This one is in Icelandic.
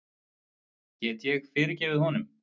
Get ég fyrirgefið honum?